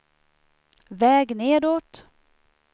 väg nedåt